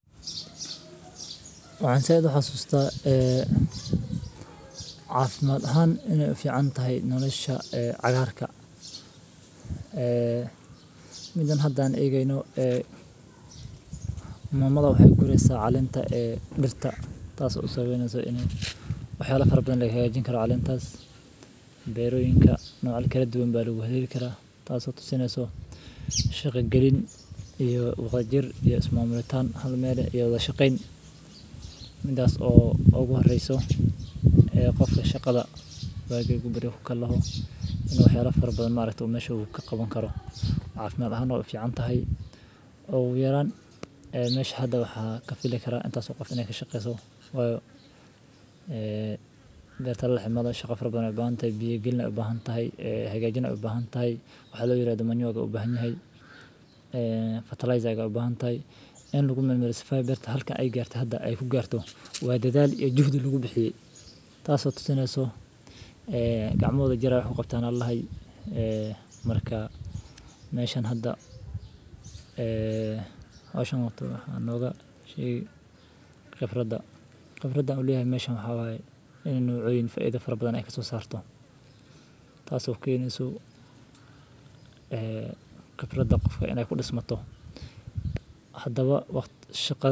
Waxan zaid u hasusta caafimaad ahaan iney u ficantahay nolosha cagaarka. Ee midan haddaan eegayno ee muumada u hey guraysa calaamta ee dhirta taas usoo waynayso inay waxyaalo farbadan leeyahay gaajin karo caleentaas, beeroyinka noocaal kale duwan baadhiigu hadheeli karaa. Taas oo tuusanayso shaqo gelin iyo waqooyi jir iyo ismaamulkeedaan hadho meel ee yoodaa shaqeyn midaas oo ugu hor reyso. Qofka shaqada baagaga badana ku kalla aho inuu waxyaalo farbad maareyto maashu ka qaban karo. Caafimaad ahaan oo fiican tahay. Ugu yaraan meeshada waxaa ka filaya karaa intaasoo qof inee ka shaqeysaa. Waa ee beerta la xamaynayo shaqo farbadan ay baahan tahay. Iyo gelin ay u baahan tahay. Hegaajin ay u baahan tahay. Waxaad loo yiraahdo maaliyeega u baahan yahay ee fertilizer-aga u baahan tahay. In lagu meelmee sifaayba beerta halka ay gaartay. Hadda ay ku gaarto waad daadaal iyo jahud lagu bixiye. Taasi oo tuusanayso gacmeedada jira waxaan u qabtaan in lahay. Markaa meeshaan hadda. Oo sodon khasoo nooga yeeshee khafrada. Khafradan odaya meesha maxaabay inay nuucdo in faiido farbadan ay kasoo saarto. Taas oo ka yimaado suu khabirada qofka inay u dhis mato haddaba waqtiga shakada.